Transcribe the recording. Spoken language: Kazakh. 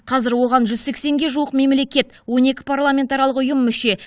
қазір оған жүз сексенге жуық мемлекет он екі парламентаралық ұйым мүше